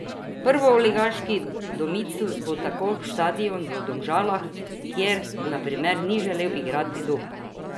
Prvoligaški domicil bo tako štadion v Domžalah, kjer, na primer, ni želel igrati Dob.